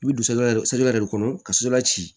I bɛ don yɛrɛ sotara yɛrɛ de kɔnɔ ka so la ci